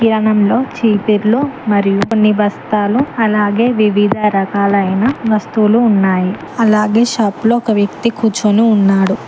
కిరాణంలో చీపుర్లు మరియు కొన్ని బస్తాలు అలాగే వివిధ రకాలైన వస్తువులు ఉన్నాయి అలాగే షాప్ లో ఒక వ్యక్తి కూర్చొని ఉన్నాడు.